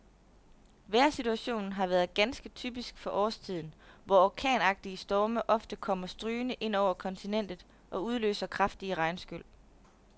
Vejrsituationen har været ganske typisk for årstiden, hvor orkanagtige storme ofte kommer strygende ind over kontinentet og udløser kraftige regnskyl.